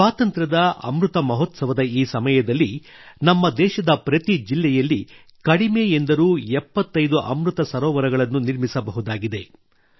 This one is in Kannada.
ಸ್ವಾತಂತ್ರ್ಯದ ಅಮೃತ ಮಹೋತ್ಸವದ ಈ ಸಮಯದಲ್ಲಿ ನಮ್ಮ ದೇಶದ ಪ್ರತಿ ಜಿಲ್ಲೆಯಲ್ಲಿ ಕಡಿಮೆ ಎಂದರೂ 75 ಅಮೃತ ಸರೋವರಗಳನ್ನು ನಿರ್ಮಿಸಬಹುದಾಗಿದೆ